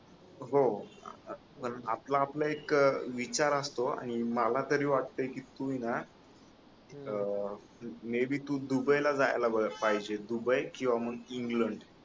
हो आपला आपला इतका विचार असतो आणि मला तरी वाटतय की तुना मे बी तु दुबई ला जायला पाहिजे दुबई किंवा मग इंग्लंड